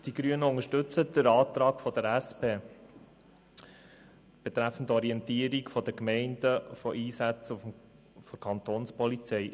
Die Grünen unterstützen den Antrag der SP-JUSO-PSA betreffend Orientierung der Gemeinden über Einsätze der Kapo.